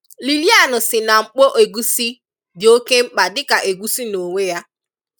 Lilian sị na mkpò ègúsí dị oke mkpa dị ka ègúsí n’onwe ya.